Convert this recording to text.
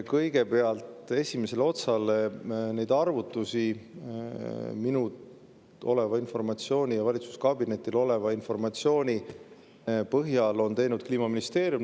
Kõigepealt, esimesele osale: neid arvutusi minul oleva informatsiooni ja valitsuskabinetil oleva informatsiooni põhjal on teinud Kliimaministeerium.